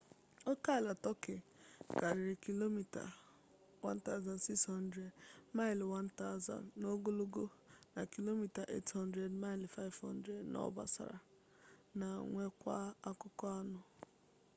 okeala turkey karịrị kilomita 1600 1000 mi n'ogologo na kilomita 800 500 mi n'obosara ma nwekwaa akụkụ anọ